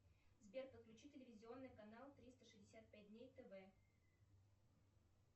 сбер подключи телевизионный канал триста шестьдесят пять дней тв